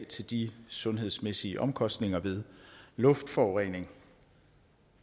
til de sundhedsmæssige omkostninger ved luftforurening